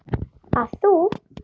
að þú.